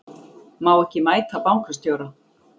Má ekki mæta bankastjóra